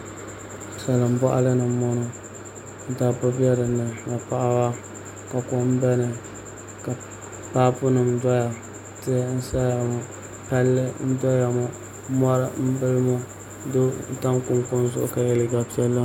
Salin boɣali puuni n boŋo ka dabba bɛ dinni ni paɣaba ka kom bɛ dinni ka paapu nim doya tihi n saya ŋo palli n doya ŋo mori n bili ŋo doo n tam kunikuni zuɣu ka yɛ liiga piɛlli ŋo